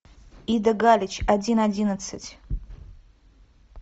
ида галич один одиннадцать